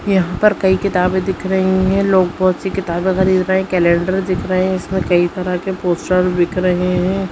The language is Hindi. यहाँ पर कई किताबे दिख रही है लोग बहुत -सी किताबे खरीद रहे है कैलेंडर दिख रहे है इसमें कई तरह के पोस्टर बिक रहे हैं।